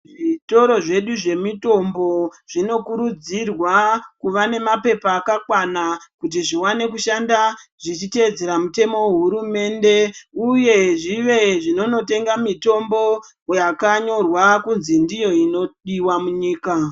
Zvitoro zvedu zvemitombo, zvinokurudzirwa kuva nemaphepha akakwana, kuti zviwane kushanda zvichitedzera mitemo wehurumende. Uye zvive zvinonotenga mitombo yakanyorwa kundzi ndiyo inodiwa munyika.